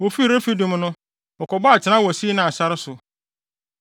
Wofii Refidim no, wɔkɔbɔɔ atenae wɔ Sinai sare so.